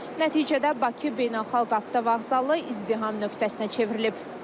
Nəticədə Bakı beynəlxalq avtovağzalı izdiham nöqtəsinə çevrilib.